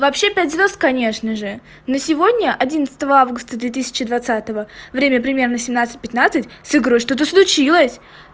вообще пять звёзд конечно же на сегодня одиннадцатого августа двадцать двадцать время примерно семьнадцать пятнадцать с игрой что то случилось